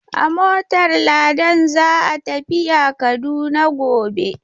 A motar Ladan za a tafiya Kaduna gobe.